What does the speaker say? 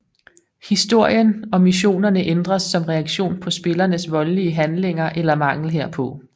Historien og missionerne ændres som reaktion på spillerens voldelige handlinger eller mangel herpå